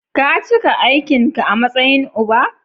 Ka cika aikin ka a matsayin uba.